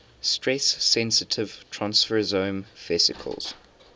stress sensitive transfersome vesicles